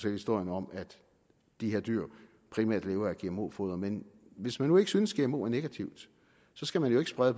historien om at de her dyr primært lever af gmo foder men hvis man nu ikke synes at gmo er negativt skal man jo ikke sprede